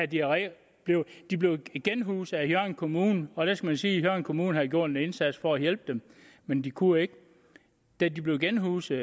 diarré de blev genhuset af hjørring kommune og der skal man sige at hjørring kommune havde gjort en indsats for at hjælpe dem men de kunne ikke da de blev genhuset